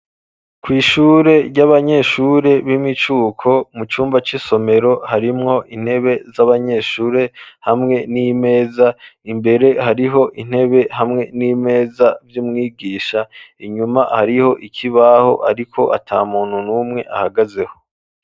Kw'ishure ry'abanyeshure b'imicuko, mu cumba c'isomero harimwo intebe z'abanyeshure hamwe n'imeza, imbere hariho intebe hamwe n'imeza vy'umwigisha, inyuma hariho ikibaho ariko ata muntu numwe ahagazeho.